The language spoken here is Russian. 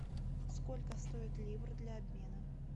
сколько стоит ливр для обмена